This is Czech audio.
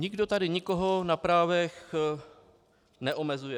Nikdo tady nikoho na právech neomezuje.